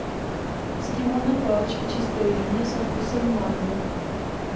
эскимо на палочке чистая линия со вкусом манго